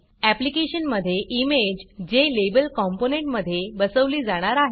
ऍप्लिकेशनमधे image JLabel कॉम्पोनंटमधे बसवली जाणार आहे